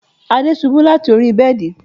Ade ṣubú láti orí bẹ́ẹ̀dì